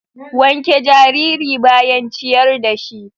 Wanke jariri bayan ciyar da shi.